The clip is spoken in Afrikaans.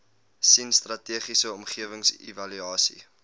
sien strategiese omgewingsevaluasie